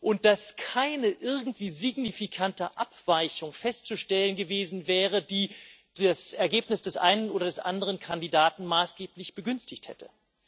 und dass keine irgendwie signifikante Abweichung festzustellen gewesen wäre, die das Ergebnis des einen oder des anderen Kandidaten maßgeblich begünstigt hätte.